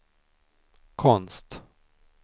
konst